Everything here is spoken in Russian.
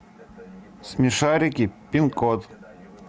смешарики пин код